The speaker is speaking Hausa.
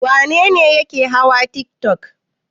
Wane ne yake hawa tiktok?